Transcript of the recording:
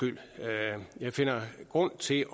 grund til